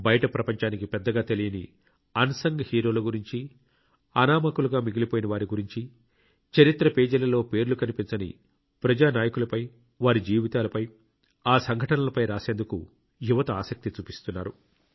బయటి ప్రపంచానికి పెద్దగా తెలియని అన్సంగ్ హీరోల గురించి అనామకులుగా మిగిలిపోయిన వారి గురించి చరిత్ర పేజిలలో పేర్లు కనిపించని ప్రజా నాయకుల వారి జీవితాలపై ఆ సంఘటనలపై రాసేందుకు యువత ఆసక్తి చూపిస్తున్నారు